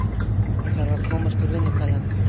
Ég þarf að komast úr vinnugallanum.